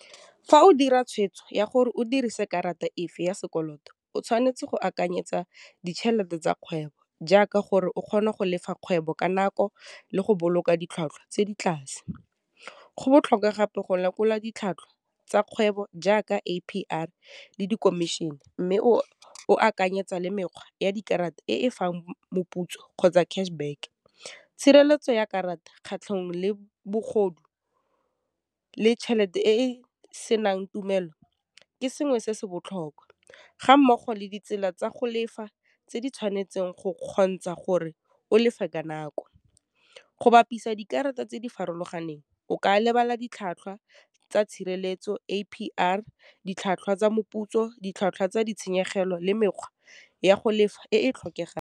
Fa o dira tshwetso ya gore o dirise karata efe ya sekoloto, o tshwanetse go akanyetsa ditšhelete tsa kgwebo, jaaka gore o kgona go lefa kgwebo ka nako le go boloka ditlhwatlhwa tse di tlase. Go botlhokwa gape go lekola ditlhwatlhwa tsa kgwebo jaaka A_P_R le di commission, mme o akanyetsa le mekgwa ya dikarata e fang moputso kgotsa cashback. Tshireletso ya karata kgatlhanong le bogodu le chelete e e senang tumello, ke sengwe se se botlhokwa ga mmogo le ditsela tsa go lefa tse di tshwanetseng go kgontsha gore o lefe ka nako. Go bapisa dikarata tse di farologaneng, o ka lebala ditlhwatlhwa tsa tshireletso A_P_R, ditlhwatlhwa tsa moputso, ditlhwatlhwa tsa ditshenyegelo le mekgwa ya go lefa e e .